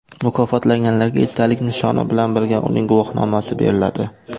Mukofotlanganlarga esdalik nishoni bilan birga uning guvohnomasi beriladi.